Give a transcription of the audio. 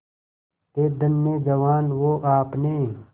थे धन्य जवान वो आपने